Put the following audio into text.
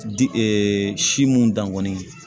Di si mun dan kɔni ye